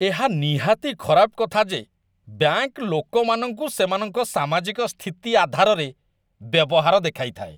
ଏହା ନିହାତି ଖରାପ କଥା ଯେ ବ୍ୟାଙ୍କ୍ ଲୋକମାନଙ୍କୁ ସେମାନଙ୍କ ସାମାଜିକ ସ୍ଥିତି ଆଧାରରେ ବ୍ୟବହାର ଦେଖାଇଥାଏ।